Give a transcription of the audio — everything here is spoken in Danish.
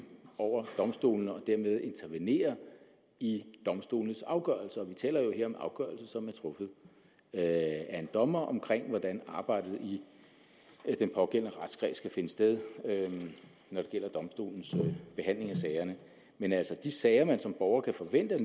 over domstolene og dermed intervenere i domstolenes afgørelser vi taler her om en afgørelse som er truffet af en dommer omkring hvordan arbejdet i den pågældende retskreds kan finde sted når det gælder domstolens behandling af sagerne men de sager man som borger kan forvente